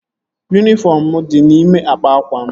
Yunifọm mụ di n'ime akpa akwa m